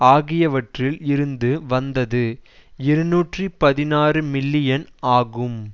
ஆகியவற்றில் இருந்து வந்தது இருநூற்றி பதினாறு மில்லியன் ஆகும்